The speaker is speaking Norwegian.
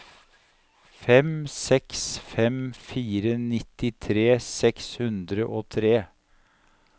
fem seks fem fire nittitre seks hundre og tre